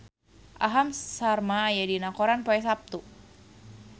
Aham Sharma aya dina koran poe Saptu